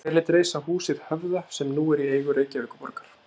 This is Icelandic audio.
Hver lét reisa húsið Höfða sem nú er í eigu Reykjavíkurborgar?